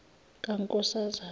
kankosazana